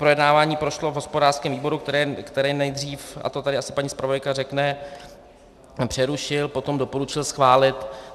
Projednávání prošlo v hospodářském výboru, který nejdřív, a to tady asi paní zpravodajka řekne, přerušil, potom doporučil schválit.